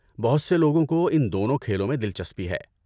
بہت سے لوگوں کو ان دونوں کھیلوں میں دلچسپی ہے۔